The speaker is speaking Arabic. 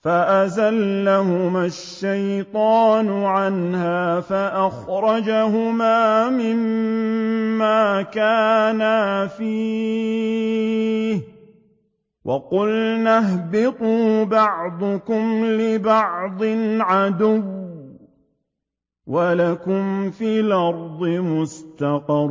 فَأَزَلَّهُمَا الشَّيْطَانُ عَنْهَا فَأَخْرَجَهُمَا مِمَّا كَانَا فِيهِ ۖ وَقُلْنَا اهْبِطُوا بَعْضُكُمْ لِبَعْضٍ عَدُوٌّ ۖ وَلَكُمْ فِي الْأَرْضِ مُسْتَقَرٌّ